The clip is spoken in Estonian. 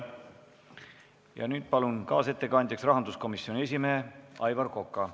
Ja nüüd palun kaasettekandjaks rahanduskomisjoni esimehe Aivar Koka.